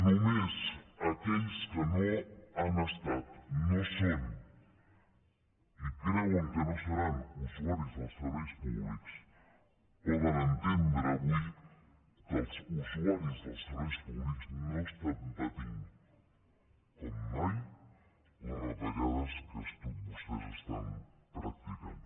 només aquells que no han estat no són i creuen que no seran usuaris dels serveis públics poden entendre avui que els usuaris dels serveis públics no estan patint com mai les retallades que tots vostès estan practicant